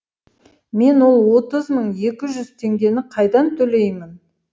мен ол отыз мың екі жүз теңгені қайдан төлеймін